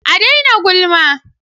A dai na gulma